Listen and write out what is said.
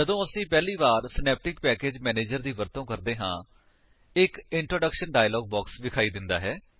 ਜਦੋਂ ਅਸੀ ਪਹਿਲੀ ਵਾਰ ਸਿਨੈਪਟਿਕ ਪੈਕੇਜ ਮੈਨੇਜਰ ਦੀ ਵਰਤੋ ਕਰਦੇ ਹਾਂ ਇੱਕ ਇੰਟਰੋਡਕਸ਼ਨ ਡਾਇਲਾਗ ਬਾਕਸ ਵਿਖਾਈ ਦਿੰਦਾ ਹੈ